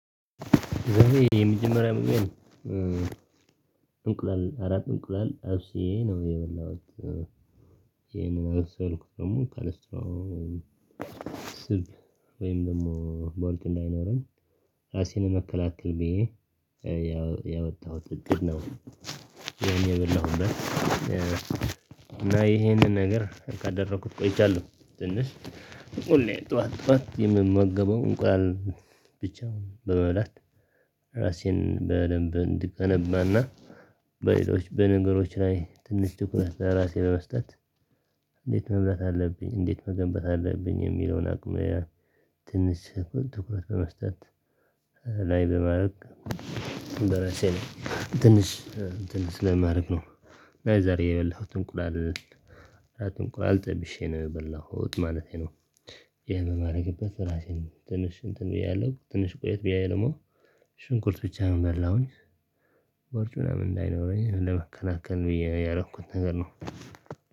ዛሬ የመጀመሪያ መሆኔን እንቁላል አራት እንቁላል ጠብሼ ነው የበላሁት። ይሄንን አልሰራሁትም ደግሞ ካለስትሮ ወይም ስብ ወይም ደሞ ቦልት እንዳይኖረን ራሴን ለመከላከል ብዬ ያወጣሁት እቅድ ነው። ያኔ የበላሁት እና ይሄንን ነገር ካደረኩት ቆይቻለሁ ትንሽ ሁሌ ጥዋት ጥዋት የምመገበው እንቁላል ብቻ ነው በመብላት ራሴን በደንብ እንድገነባና በሌሎች በነገሮች ላይ ትንሽ ትኩረት ለራሴ በመስጠት። እንዴት መብላት አለብኝ እንዴት መገንባት አለብኝ የሚለውን አቅሜየ ትንሽ ትኩረት በመስጠት ላይ በማድረግ በራሴን ትንሽ ትንሽ ለማረግ ነው። ዛሬ የበላሁት እንቁላል እንቁላል ጠብሼ ነው የበላሁት ማለቴ ነው። ይህንን እማረግበት እራሴን ነው ትንሽ እንትን ብዬ ያለው ትንሽ ቆየት ብዬ ደሞ ሽንኩርት ብቻ ነው ያለው። ኣሁን ቦርጩ ያው እንዳይኖረኝ ለመከናከን ብዬ ያረኩት ነገር ነው።